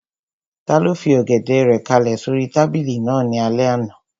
Taló fi Ọ̀gẹ̀dẹ̀ rẹ̀ kálẹ̀ sóri tábìlì náà ní alẹ́ àná?